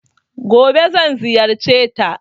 Gobe zan ziyarceta.